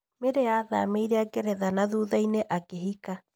Mary athamĩire Ngeretha na thutha-inĩ akĩhika.